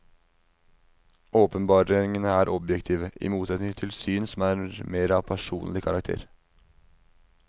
Åpenbaringene er objektive, i motsetning til syn som mer er av personlig karakter.